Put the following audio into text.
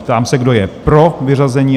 Ptám se, kdo je pro vyřazení?